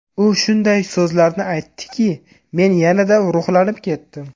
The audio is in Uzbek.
U shunday so‘zlarni aytdiki, men yanada ruhlanib ketdim.